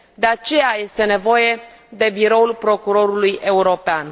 De aceea, este nevoie de Biroul Procurorului European.